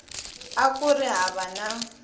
a ku ri hava na